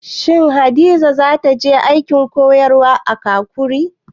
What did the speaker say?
Shin Hadiza za ta je aikin koyarwa a Kakuri?